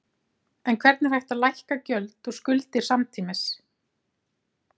En hvernig er hægt að lækka gjöld og skuldir samtímis?